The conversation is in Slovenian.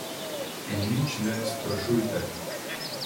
In nič ne sprašujte.